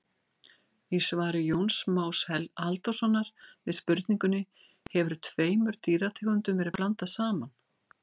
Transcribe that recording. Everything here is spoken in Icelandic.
Í svari Jóns Más Halldórssonar við spurningunni Hefur tveimur dýrategundum verið blandað saman?